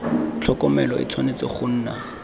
tlhokomelo e tshwanetse go nna